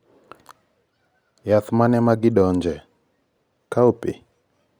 yath mane magidonje? Cowpea?